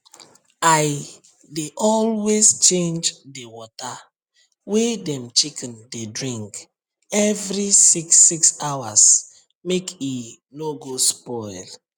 i dey always change the water wey dem chicken dey drink every six six hours make e no go spoil